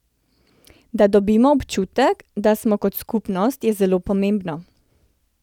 Da dobimo občutek, da smo kot skupnost, je zelo pomembno.